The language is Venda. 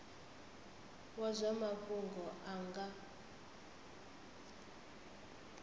wa zwa mafhungo a nga